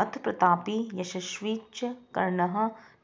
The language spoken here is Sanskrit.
अथ प्रतापी यशस्वी च कर्णः